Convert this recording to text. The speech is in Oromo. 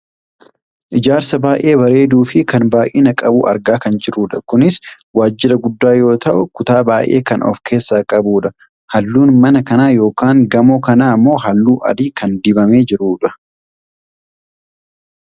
ijaarsa baayyee bareeduufi kan baayyina qabu argaa kan jirrudha. kunis waajira guddaa yoo ta'u kutaa baayyee kan of keessaa qabudha. halluun mana kanaa yookaan gamoo kanaa ammoo halluu adii kan dibamee jirudha.